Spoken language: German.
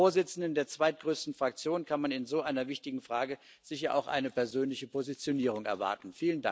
Vom Vorsitzenden der zweitgrößten Fraktion kann man in so einer wichtigen Frage sicher auch eine persönliche Positionierung erwarten.